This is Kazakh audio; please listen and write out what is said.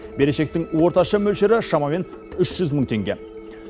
берешектің орташа мөлшері шамамен үш жүз мың теңге